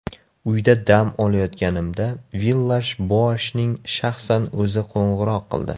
Uyda dam olayotganimda Villash-Boashning shaxsan o‘zi qo‘ng‘iroq qildi.